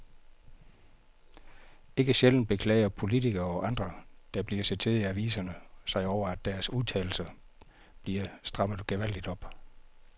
Ikke sjældent beklager politikere og andre, der bliver citeret i aviserne sig over, at deres udtalelser bliver strammet gevaldigt op.